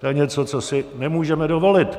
To je něco, co si nemůžeme dovolit.